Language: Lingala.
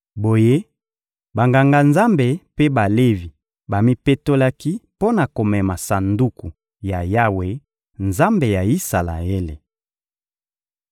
Boye, Banganga-Nzambe mpe Balevi bamipetolaki mpo na komema Sanduku ya Yawe, Nzambe ya Isalaele.